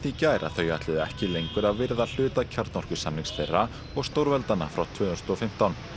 í gær að þau ætluðu ekki lengur að virða hluta þeirra og stórveldanna frá tvö þúsund og fimmtán